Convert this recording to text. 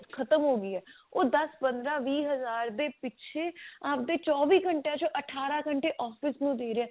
ਖਤਮ ਹੋ ਗਈ ਹੈ ਉਹ ਦਸ ਪੰਦਰਾਂ ਵੀਹ ਹਜ਼ਾਰ ਦੇ ਪਿੱਛੇ ਆਪਣੇ ਚੋਵੀ ਘੰਟਿਆਂ ਚੋਂ ਅਠਾਰਾਂ ਘੱਟੇ office ਨੂੰ ਦੇ ਰਿਹਾ